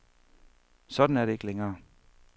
Sådan er det ikke længere.